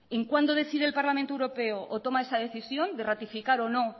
en cuándo decide el parlamento europeo o toma esa decisión de ratificar o no